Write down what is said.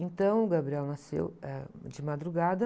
Então, o Gabriel nasceu, eh, de madrugada.